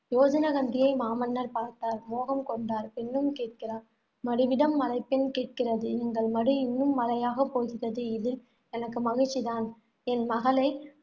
யோஜனகந்தியை மாமன்னர் பார்த்தார், மோகம் கொண்டார், பெண்ணும் கேட்கிறார். மடுவிடம் மலை பெண் கேட்கிறது. எங்கள் மடு இன்னும் மலையாகப் போகிறது. இதில் எனக்கு மகிழ்ச்சி தான் என் மகளை